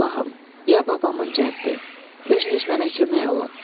Ey Allahım, ya babamın cəddi, özünüz mənə kömək olun.